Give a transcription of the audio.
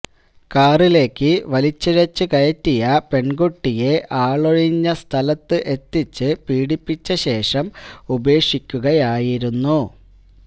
കാറിലേക്ക് വലിച്ചിഴച്ച് കയറ്റിയ പെൺകുട്ടിയെ ആളൊഴിഞ്ഞ സ്ഥലത്ത് എത്തിച്ച് പീഡിപ്പിച്ചശേഷം ഉപേക്ഷിക്കുകയായിരുന്നു